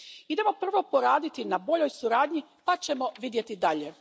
Idemo prvo poraditi na boljoj suradnji pa ćemo vidjeti dalje.